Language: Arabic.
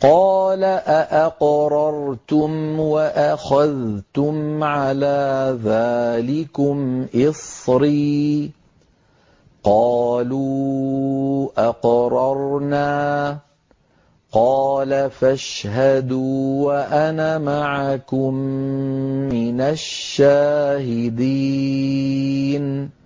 قَالَ أَأَقْرَرْتُمْ وَأَخَذْتُمْ عَلَىٰ ذَٰلِكُمْ إِصْرِي ۖ قَالُوا أَقْرَرْنَا ۚ قَالَ فَاشْهَدُوا وَأَنَا مَعَكُم مِّنَ الشَّاهِدِينَ